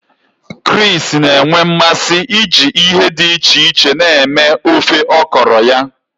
Chris na-enwe mmasị iji ihe dị iche iche na-eme ofe okro ya.